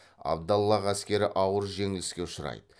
абдаллах әскері ауыр жеңіліске ұшырайды